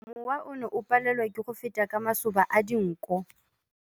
Mowa o ne o palelwa ke go feta ka masoba a dinko.